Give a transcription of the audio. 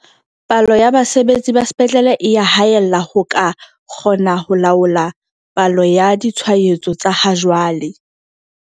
Palo ya basebetsi ba sepetlele e ya haella ho ka kgona ho laola palo ya ditshwaetso tsa hajwale.